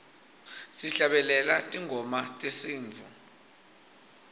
sihlabelela tingoma tesintfu